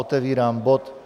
Otevírám bod